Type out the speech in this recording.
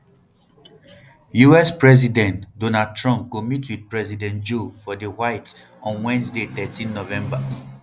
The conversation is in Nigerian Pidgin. us presidentelect donald trump go meet wit president joe for di white on wednesday thirteen november